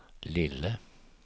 lille